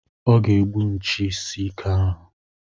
Ọ ga-egbu nchi isi ike ahụ.